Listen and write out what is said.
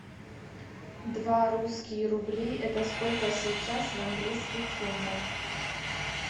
два русские рубли это сколько сейчас в английских фунтах